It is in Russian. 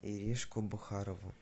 иришку бухарову